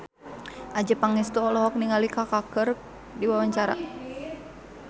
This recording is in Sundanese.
Adjie Pangestu olohok ningali Kaka keur diwawancara